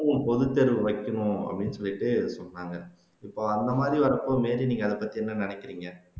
பொதுத்தேர்வு வைக்கணும் அப்படின்னு சொல்லிட்டு சொன்னாங்க இப்போ அந்த மாதிரி வரப்போ மேரி நீங்க அதைப்பத்தி என்ன நினைக்கிறீங்க